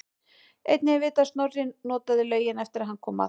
Einnig er vitað að Snorri notaði laugina eftir að hann kom að